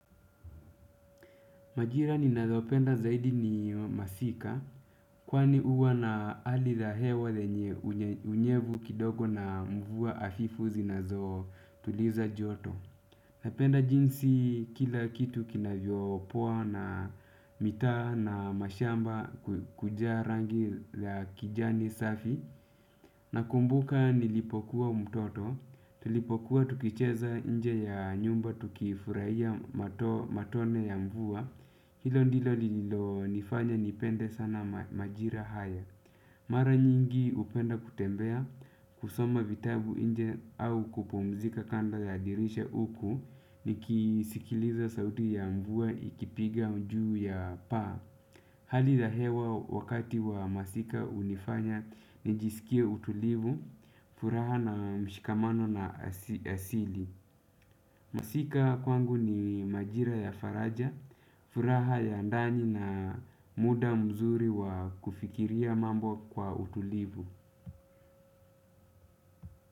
Majira ninayopenda zaidi ni masika, kwani huwa na hali la hewa lenye unyevu kidogo na mvua afifu zinazo tuliza joto. Napenda jinsi kila kitu kinavyo poa na mitaa na mashamba kujaa rangi la kijani safi nakumbuka nilipokuwa mtoto, tulipokuwa tukicheza nje ya nyumba tukifurahia matone ya mvua. Hilo ndilo lililonifanya nipende sana majira hayo. Mara nyingi hupenda kutembea kusoma vitabu nje au kupumzika kando ya dirisha huku nikisikiliza sauti ya mvua ikipiga juu ya paa. Hali la hewa wakati wa masika hunifanya nijisikie utulivu furaha na mshikamano na asili. Masika kwangu ni majira ya faraja. Furaha ya ndani na muda mzuri wa kufikiria mambo kwa utulivu.